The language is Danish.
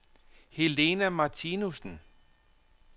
Helena Martinussen